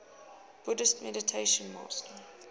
buddhist meditation master